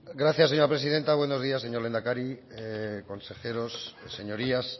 gracias señora presidenta buenos días señor lehendakari consejeros señorías